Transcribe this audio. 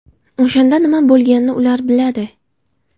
O‘shanda nima bo‘lganini ular biladi.